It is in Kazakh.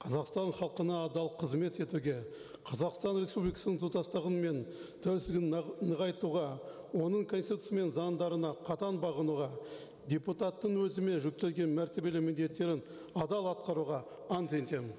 қазақстан халқына адал қызмет етуге қазақстан республикасының тұтастығы мен тәуелсіздігін нығайтуға оның конституциясы мен заңдарына қатаң бағынуға депутаттың өзіме жүктелген мәртебелі міндеттерін адал атқаруға ант етемін